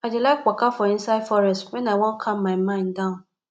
i dey like waka for inside forest wen i wan calm my mind down